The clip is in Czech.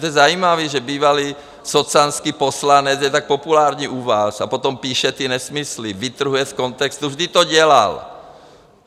To je zajímavé, že bývalý socanský poslanec je tak populární u vás, a potom píše ty nesmysly, vytrhuje z kontextu, vždyť to dělal.